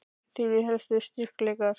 Þínir helstu styrkleikar?